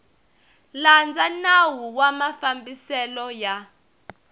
landza nawu wa mafambiselo ya